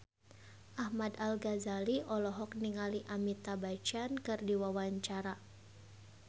Ahmad Al-Ghazali olohok ningali Amitabh Bachchan keur diwawancara